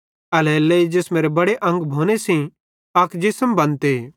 एल्हेरेलेइ जिसमेरे बड़े अंग भोने सेइं अक जिसम बनते